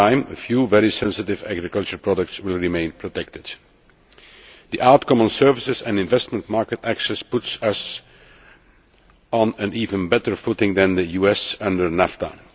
same time, a few very sensitive agricultural products will remain protected. The outcome concerning services and investment market access puts us on an even better footing than the US under NAFTA.